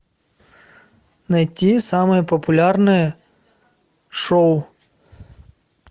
найти самое популярное шоу